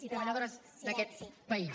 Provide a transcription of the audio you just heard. i treballadores d’aquest país